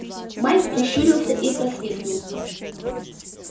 майк прищурился и просвистнул